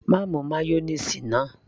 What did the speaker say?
má mu mayonnaise náà